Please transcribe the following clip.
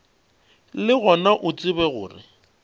le gona o tsebe gore